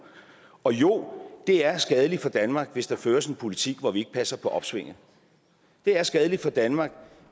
og jo det er skadeligt for danmark hvis der føres en politik hvor vi ikke passer på opsvinget det er skadeligt for danmark